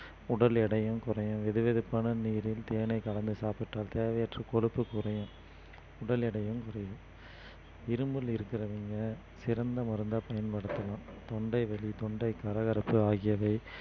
உடல் எடையும் குறையும் வெதுவெதுப்பான நீரில் தேனை கலந்து சாப்பிட்டு வந்தால் தேவையற்ற கொழுப்பு குறையும் உடல் எடையும் குறையும் இருமல் இருக்கிறவங்க சிறந்த மருந்தா பயன்படுத்தலாம் தொண்டை வலி, தொண்டை கரகரப்பு ஆகியவை